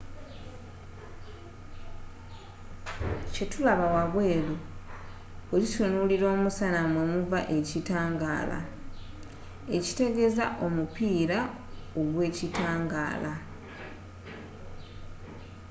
kye tulaba wabweeru bwe tutunuulira omusana mwe muva ekitangaala ekitegeeza omupiira ogw’ekitangaala